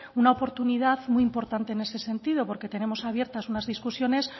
una oportunidad muy importante en ese sentido porque tenemos abiertas unas discusiones